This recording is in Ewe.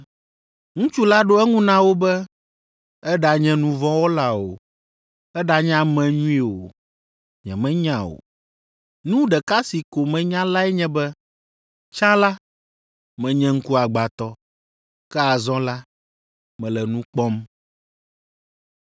Ŋutsu la ɖo eŋu na wo be, “Eɖanye nu vɔ̃ wɔla o, eɖanye ame nyui o, nyemenya o. Nu ɖeka si ko menya lae nye be, tsã la, menye ŋkuagbãtɔ, ke azɔ la, mele nu kpɔm!”